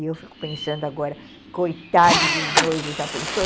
E eu fico pensando agora, coitado dos noivos, já pensou?